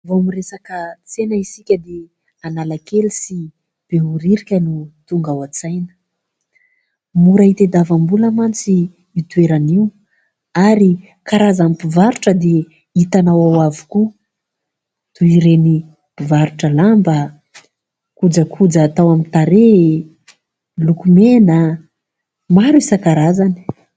Vao miresaka tsena isika dia Analakely sy Behoririka no tonga ao an-tsaina. Mora hitadiavam-bola mantsy io toerana io ary karazan'ny mpivarotra dia hitanao ao avokoa, toy ireny mpivarotra lamba, kojakoja atao amin'ny tarehy, lokomena maro isan-karazany.